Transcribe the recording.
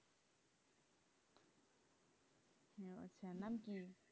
sanam two